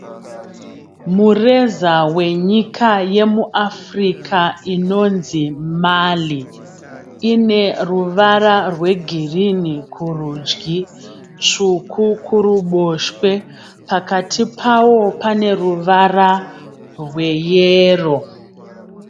Mureza wenyika yemuAfrica inonzi Mali. Ine ruvara rwegirinhi kurudyi, tsvuku kuruboshwe, pakati pawo pane ruvara rweyero.